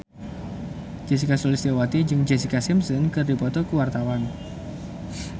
Sulistyowati jeung Jessica Simpson keur dipoto ku wartawan